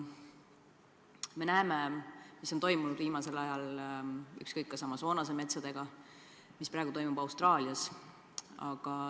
Me näeme, mis on toimunud viimasel ajal Amazonase metsadega või mis praegu toimub Austraalias.